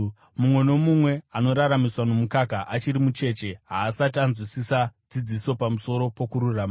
Mumwe nomumwe anoraramiswa nomukaka, achiri mucheche, haasati anzwisisa dzidziso pamusoro pokururama.